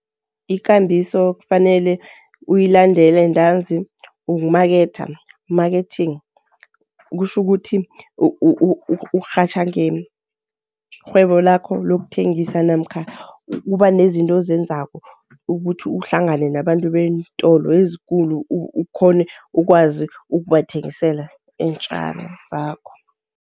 Ikambiso kufanele uyilandele ntanzi yokumaketha marketing. Kutjhukuthi urhatjha ngerhwebo lakho lokuthengisa namkha kuba nezinto ozenzako ukuthi uhlangane nabantu beentolo ezikulu, ukghone ukwazi ukubathengisela iintjalo zakho.